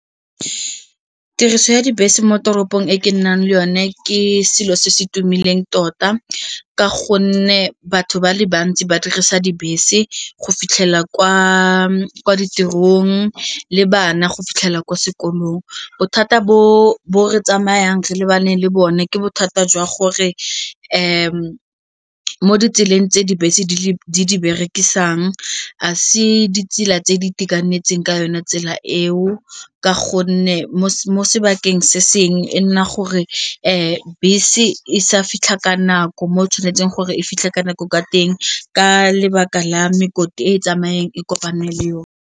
Tiriso ya dibese mo toropong ko ke nnang le yone ke selo se se tumileng tota ka gonne batho ba le bantsi ba dirisa dibese go fitlhelela kwa ditirong le ba nna go fitlhela kwa sekolong. Bothata bo bo re tsamayang re le ba neng le bone ke bothata jwa gore mo ditseleng tse dibese di le di berekisang a se ditsela tse di itekanetseng ka yona tsela eo ka gonne mo sebakeng se seng e nna gore bese e sa fitlha ka nako mo o tshwanetseng gore e fitlha ka nako ka teng ka lebaka la gore e tsamayeng e kopane le yone.